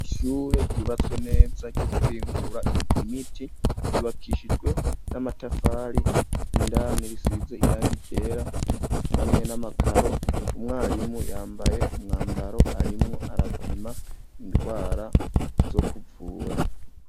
Ishure ryubatswe neza ryo guhingura imiti ryubakishijwe n'amatafari indani risize irangi ryera hamwe n'amakaro umwarimu yambaye umwambaro arimwo arapima indwara zo kuvura.